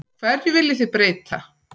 Hverju viljið þið breyta?